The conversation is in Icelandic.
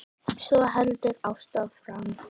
Svo heldur Ásta áfram